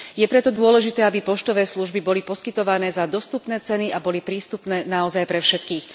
Je preto dôležité, aby poštové služby boli poskytované za dostupné ceny a boli prístupné naozaj pre všetkých.